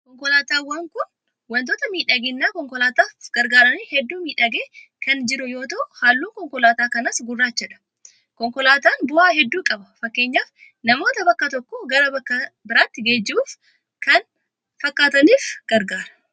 Konkolaataan kun wantoota miidhagina konkolaataaf gargaaraniin hedduu miidhagee kan jiru yoo ta'u halluun konkolaataa kanaas gurraachadha. Konkolaataan bu'aa hedduu qaba. Fakkeenyaaf namoota bakka tokkoo gara bakka biraatti geejjibuufii kan kana fakkaataniif gargaara.